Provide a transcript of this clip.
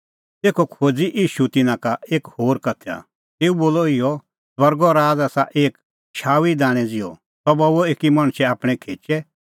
तेखअ खोज़अ ईशू तिन्नां लै एक होर उदाहरण तेऊ बोलअ इहअ स्वर्गो राज़ आसा एक शाऊईए दाणैं ज़िहअ सह बऊअ एकी मणछ आपणैं खेचै